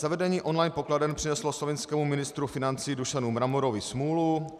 Zavedení online pokladen přineslo slovinskému ministru financí Dušanu Mramorovi smůlu.